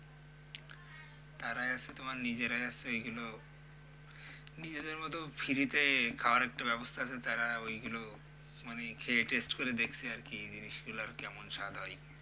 তারা যাচ্ছে তোমার নিজেরা যাচ্ছে ওইগুলো নিজেদের মতো free তে খাওয়ার একটা ব্যবস্থা আছে তারা ওইগুলো মানে খেয়ে taste করে দেখছে আরকি জিনিসগুলোর কেমন স্বাদ হয়।